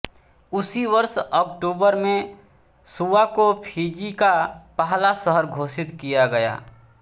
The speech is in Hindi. उसी वर्ष अक्टूबर में सुवा को फिजी का पहला शहर घोषित किया गया